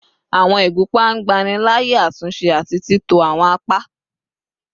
Awọn igunpa ngbanilaaye atunse ati titọ awọn apa